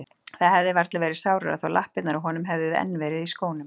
Það hefði varla verið sárara þó lappirnar á honum hefðu enn verið í skónum.